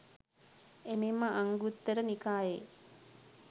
එමෙන්ම අංගුත්තර නිකායේ